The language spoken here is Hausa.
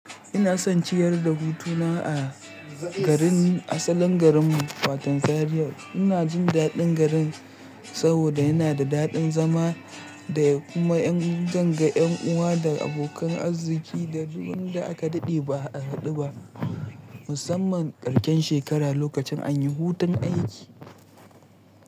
Ina son ciyar da hutuna a garin asalin garinmu, wato Zaria ina jin daɗin garin saboda yana da daɗin zama da kuma ƴan zanga, ƴan uwa da abokan arziki da duk wanda aka daɗe ba a haɗu ba, musamman karshen shekara lokacin an yi hutun aiki.